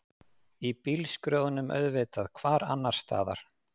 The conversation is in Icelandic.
Í bílskrjóðnum auðvitað, hvar annarstaðar?